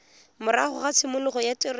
morago ga tshimologo ya tiriso